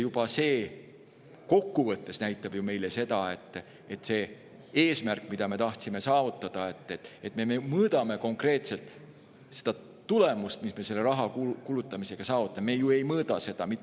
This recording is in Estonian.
Ja see näitab kokku võttes meile seda, et eesmärk, mida me tahtsime saavutada, et me mõõdame konkreetselt seda tulemust, mis me selle raha kulutamisega saavutame,.